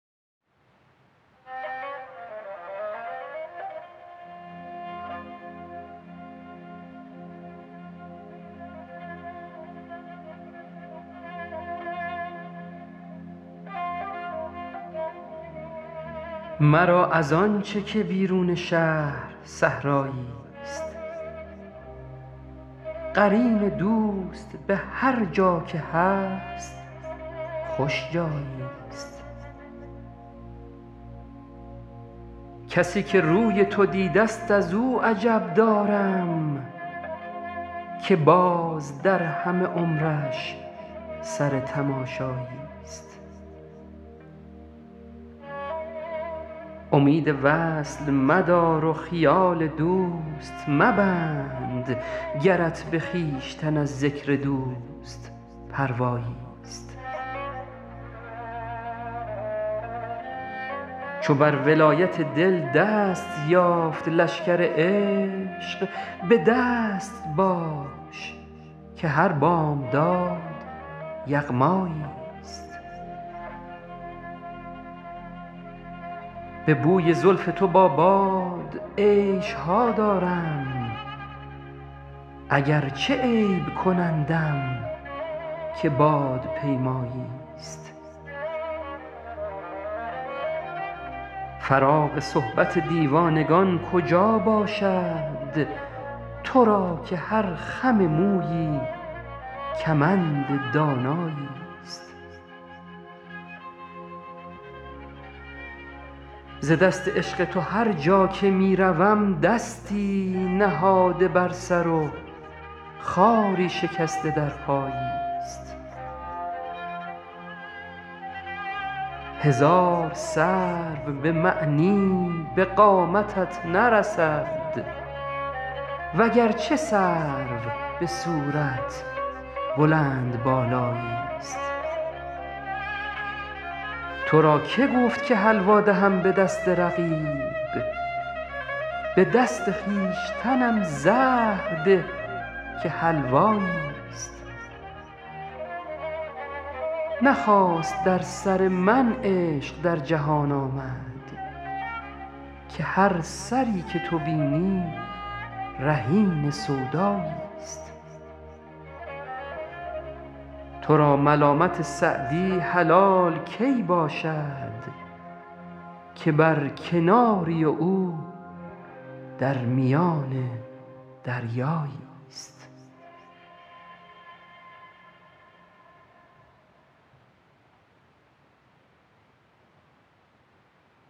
مرا از آن چه که بیرون شهر صحرایی ست قرین دوست به هرجا که هست خوش جایی ست کسی که روی تو دیده ست از او عجب دارم که باز در همه عمرش سر تماشایی ست امید وصل مدار و خیال دوست مبند گرت به خویشتن از ذکر دوست پروایی ست چو بر ولایت دل دست یافت لشکر عشق به دست باش که هر بامداد یغمایی ست به بوی زلف تو با باد عیش ها دارم اگرچه عیب کنندم که بادپیمایی ست فراغ صحبت دیوانگان کجا باشد تو را که هر خم مویی کمند دانایی ست ز دست عشق تو هرجا که می روم دستی نهاده بر سر و خاری شکسته در پایی ست هزار سرو به معنی به قامتت نرسد وگرچه سرو به صورت بلندبالایی ست تو را که گفت که حلوا دهم به دست رقیب به دست خویشتنم زهر ده که حلوایی ست نه خاص در سر من عشق در جهان آمد که هر سری که تو بینی رهین سودایی ست تو را ملامت سعدی حلال کی باشد که بر کناری و او در میان دریایی ست